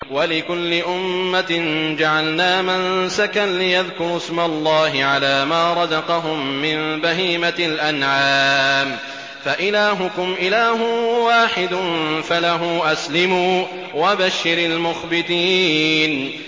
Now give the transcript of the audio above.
وَلِكُلِّ أُمَّةٍ جَعَلْنَا مَنسَكًا لِّيَذْكُرُوا اسْمَ اللَّهِ عَلَىٰ مَا رَزَقَهُم مِّن بَهِيمَةِ الْأَنْعَامِ ۗ فَإِلَٰهُكُمْ إِلَٰهٌ وَاحِدٌ فَلَهُ أَسْلِمُوا ۗ وَبَشِّرِ الْمُخْبِتِينَ